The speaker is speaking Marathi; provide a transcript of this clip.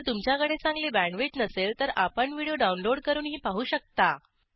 जर तुमच्याकडे चांगली बॅण्डविड्थ नसेल तर आपण व्हिडिओ डाउनलोड करूनही पाहू शकता